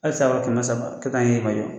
Hali saga kɛmɛ saba kɛ k'a ye